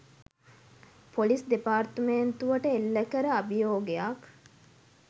police දෙපාර්තමේන්තුවට එල්ලකල අභියෝගයක්